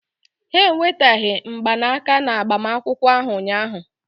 Ha eweteghị mgbanaka na agbamakwụkwọ ahụ ụnyaahụ.